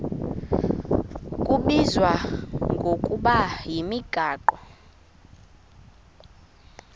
kubizwa ngokuba yimigaqo